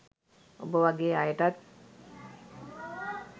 ඔබ වගෙ අයටත්